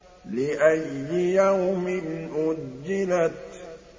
لِأَيِّ يَوْمٍ أُجِّلَتْ